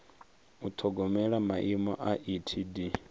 u ṱhogomela maimo a etd